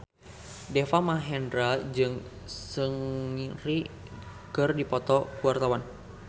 Deva Mahendra jeung Seungri keur dipoto ku wartawan